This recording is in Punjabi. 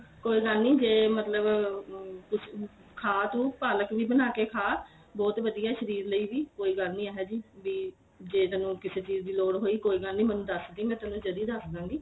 ਕੋਈ ਗੱਲ ਨੀਂ ਜੇ ਮਤਲਬ ਕੁੱਝ ਖਾ ਤੂੰ ਪਾਲਕ ਵੀ ਬਣਾ ਕੇ ਖਾ ਬਹੁਤ ਵਧੀਆ ਸ਼ਰੀਰ ਲਈ ਵੀ ਕੋਈ ਗੱਲ ਨੀਂ ਇਹ ਜੀ ਬੀ ਜੇ ਤੈਨੂੰ ਕਿਸੇ ਚੀਜ ਦੀ ਲੋੜ ਹੋਈ ਕੋਈ ਗੱਲ ਨੀਂ ਮੈਨੂੰ ਦਸ ਦੀ ਮੈਂ ਤੈਨੂੰ ਜਦੀ ਦਸਦਾ ਗੀ